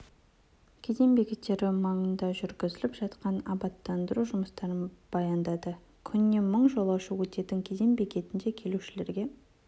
кеден бекеттері маңында жүргізіліп жатқан абаттандыру жұмыстарын баяндады күніне мың жолаушы өтетін кеден бекетінде келушілерге